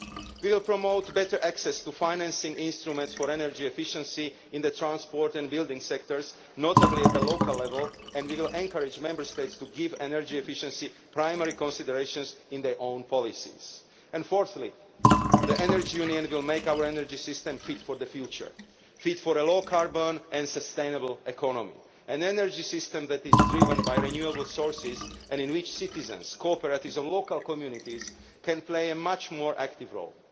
We will promote better access to financing instruments for energy efficiency in the transport and building sectors, notably at local level, and we will encourage Member States to give energy efficiency primary consideration in their own policies. Fourthly, the Energy Union will make our energy system fit for the future fit for a low carbon and sustainable economy, an energy system that is driven by renewable sources and in which citizens, cooperatives and local communities can play a much more active role.